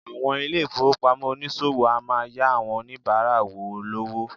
Àwọn ilé-ìfowópamọ́ oníṣòwò a máa yá àwọn oníbàárà wọ lówó.